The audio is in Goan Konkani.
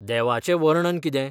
देवाचें वर्णन कितें?